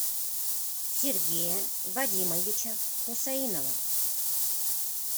сергея вадимовича хусаинова